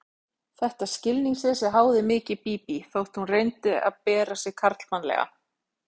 Þetta skilningsleysi háði mikið Bíbí, þótt hún reyndi að bera sig karlmannlega.